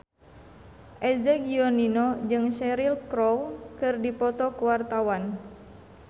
Eza Gionino jeung Cheryl Crow keur dipoto ku wartawan